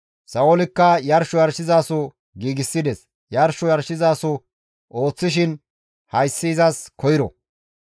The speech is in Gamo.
Sa7oolikka yarsho yarshizaso giigsides; yarsho yarshizaso ooththishin hayssi izas koyro.